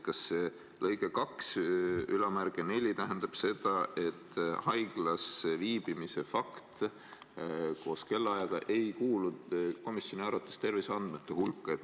Kas punkt 24 tähendab seda, et haiglas viibimise fakt koos kellaajaga ei kuulu komisjoni arvates terviseandmete hulka?